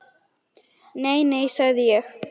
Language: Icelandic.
Nei, nei, sagði ég.